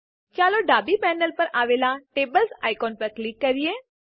ચાલો ડાબી પેનલ પર આવેલા ટેબલ્સ આઇકોન ઉપર ક્લિક કરીએ